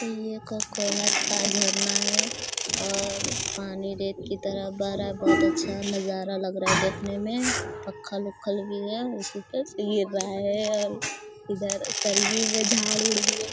ये ककोलत का झरना है और पानी रेत की तरह बह रहा है। बहुत अच्छा नजारा लग रहा है देखने में। पत्थल उत्थल भी है उसी पे से गिर रहा है और इधर करगी में झाड़-उड़ भी है।